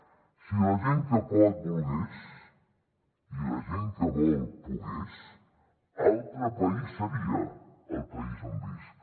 si la gent que pot volgués i la gent que vol pogués altre país seria el país on visc